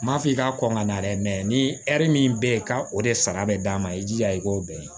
M'a fɔ i ka kɔn ka na dɛ ni min be yen ka o de sara be d'a ma i jija i k'o bɛn